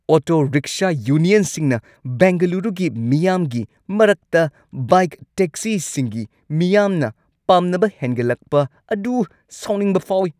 Auto-rickshaw ꯌꯨꯅꯤꯌꯟꯁꯤꯡꯅ ꯕꯦꯡꯒꯂꯨꯔꯨꯒꯤ ꯃꯤꯌꯥꯝꯒꯤ ꯃꯔꯛꯇ ꯕꯥꯏꯛ ꯇꯦꯛꯁꯤꯁꯤꯡꯒꯤ ꯃꯤꯌꯥꯝꯅ ꯄꯥꯝꯅꯕ ꯍꯦꯟꯒꯠꯂꯛꯄ ꯑꯗꯨ ꯁꯥꯎꯅꯤꯡꯕ ꯐꯥꯎꯏ꯫